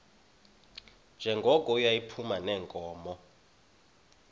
njengoko yayiphuma neenkomo